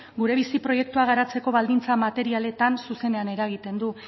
gure bizi proiektua garatzeko baldintza materialetan zuzenean eragiten du